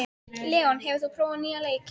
Leon, hefur þú prófað nýja leikinn?